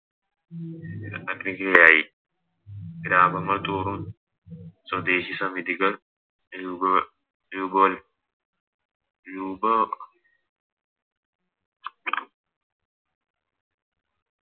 അഗ്നിക്ക് ഇരയായി ഗ്രാമങ്ങൾ തോറും സ്വദേശി സമിതികൾ രൂപക രൂപകൽ രൂപ